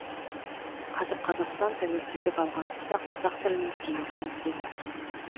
қазір қазақстан тәуелсіздік алған тұста қазақ тілінің теңдігін іздеп отырмыз